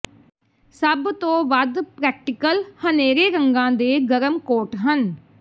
ਸਭ ਤੋਂ ਵੱਧ ਪ੍ਰੈਕਟੀਕਲ ਹਨੇਰੇ ਰੰਗਾਂ ਦੇ ਗਰਮ ਕੋਟ ਹਨ